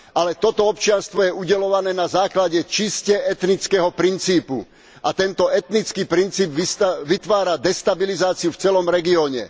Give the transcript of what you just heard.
Ale toto občianstvo je udeľované na základe čisto etnického princípu a tento etnický princíp vytvára destabilizáciu v celom regióne.